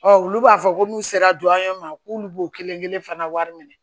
olu b'a fɔ ko n'u sera duɲɔ ma k'olu b'o kelen kelen fana wari minɛ